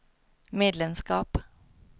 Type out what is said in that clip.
medlemskap